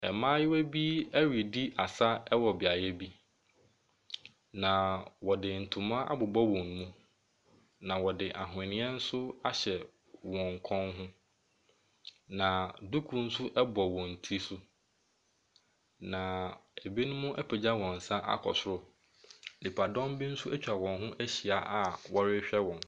Mmaayewa bi redi asa wɔ beaeɛ bi, na wɔde ntoma abobɔ wɔn mu, na wɔde ahweneɛ nso ahyɛ wɔn kɔn ho, na duku nso bɔ wɔn ti so, na ɛbinom apagya wɔn nsa akɔ soro. Nipadɔm bi nso atwa wɔn hi ahyia a wɔrehwɛ wɔn.